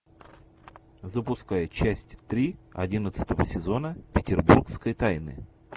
запускай часть три одиннадцатого сезона петербургские тайны